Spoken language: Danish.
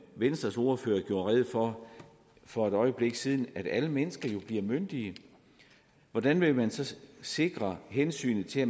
venstres ordfører gjorde rede for for et øjeblik siden at alle mennesker jo bliver myndige hvordan vil man så sikre hensynet til at